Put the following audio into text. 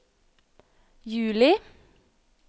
juli